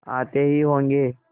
आते ही होंगे